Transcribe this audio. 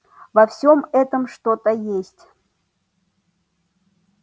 во всем этом что-то есть